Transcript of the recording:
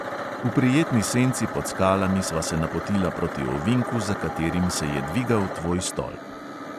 V prijetni senci pod skalami sva se napotila proti ovinku, za katerim se je dvigal tvoj stolp.